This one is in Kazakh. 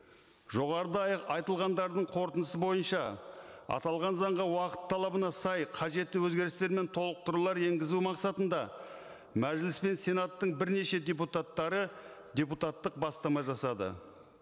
жоғарыда айтылғандардың қорытындысы бойынша аталған заңға уақыт талабына сай қажетті өзгерістер мен толықтырулар енгізу мақсатында мәжіліс пен сенаттың бірнеше депутаттары депутаттық бастама жасады